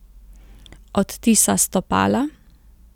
Odtisa stopala?